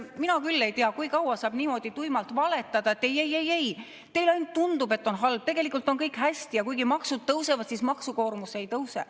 Mina küll ei tea, kui kaua saab niimoodi tuimalt valetada, et ei-ei-ei-ei, teile ainult tundub, et on halb, tegelikult on kõik hästi ja kuigi maksud tõusevad, siis maksukoormus ei tõuse.